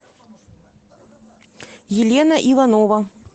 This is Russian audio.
елена иванова